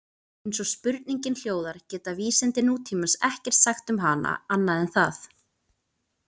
Eins og spurningin hljóðar geta vísindi nútímans ekkert sagt um hana annað en það.